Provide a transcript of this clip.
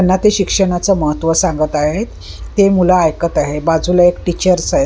ला ते शिक्षणाचं महत्व सांगत आहेत ते मुलं ऐकत आहे बाजूला एक टीचर्स आहे.